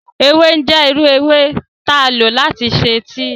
Ewe jẹ iru ewe ti a lo lati ṣe tíì.